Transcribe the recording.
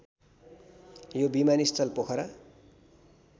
यो विमानस्थल पोखरा